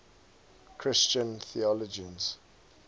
christian theologians